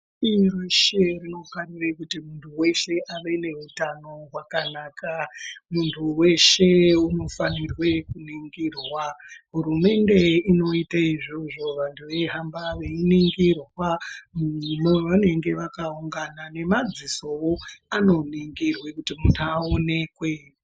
Pashi rino reshe tinofanire kuti muntu weshe ave nehutano hwakanaka .Munhu weshe unofanirwe kuningirwa. Hurumende inoite izvozvo, vantu veihamba veiningirwa pavanenge vakaungana, nemadzisowo anoningirwa kuti muntu aonekwe.